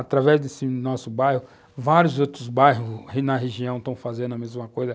Através desse nosso bairro, vários outros bairros na região estão fazendo a mesma coisa.